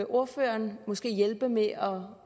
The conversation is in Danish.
ordføreren måske hjælpe med at